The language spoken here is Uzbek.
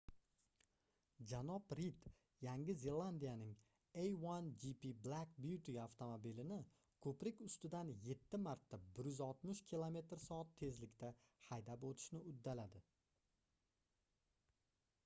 janob rid yangi zelandiyaning a1gp black beauty avtomobilini ko'prik ustidan yetti marta 160 km/soat tezlikda haydab o'tishni uddaladi